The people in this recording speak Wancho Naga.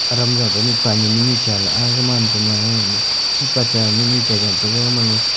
adam jau ta mihpa nyi mihnyu cha la aa gaman pama ee mihpa cha mihnu cha jontaga gamanma.